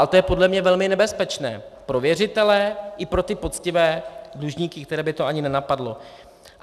A to je podle mě velmi nebezpečné pro věřitele i pro ty poctivé dlužníky, které by to ani nenapadlo.